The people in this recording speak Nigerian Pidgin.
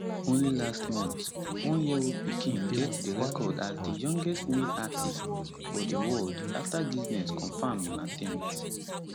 only last month oneyearold pickin get di record as di youngest male artist for di world afta guinness confam im attempt